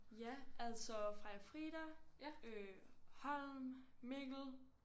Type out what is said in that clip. Ja altså Freja-Frida Holm Mikkel